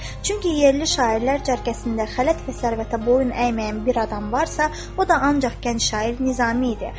Çünki yerli şairlər cərgəsində xələt və sərvətə boyun əyməyən bir adam varsa, o da ancaq gənc şair Nizami idi.